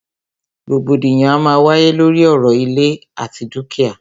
Rògbòdìyàn a máa wáyé lóri ọ̀rọ̀ ìlẹ̀ àti dúkìá.